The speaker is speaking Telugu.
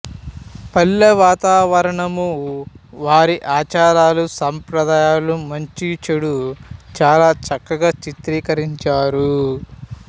పల్లె వాతావరణమూ వారి ఆచారాలు సంప్రదాయాలు మంచీ చెడూ చాలా చక్కగా చిత్రీకరించారు